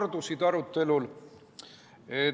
Teemad aruteludel kordusid.